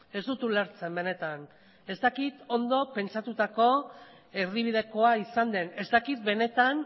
ez dut ulertzen benetan ez dakit ondo pentsatutako erdibidekoa izan den ez dakit benetan